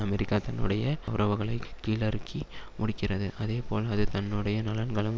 America தன்னுடைய உறவுகளை கீழறுக்கி முடிக்கிறது அதேபோல் அது தன்னுடைய நலன்களும்